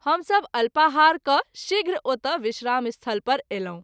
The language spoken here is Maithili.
हम सभ अल्पाहार कय शीघ्र ओतय विश्राम स्थल पर आयलहुँ।